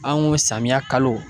An ko samiya kalo